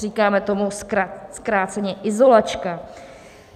Říkáme tomu zkráceně izolačka.